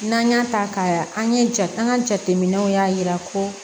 N'an y'a ta ka an ye jate an ka jateminɛw y'a yira ko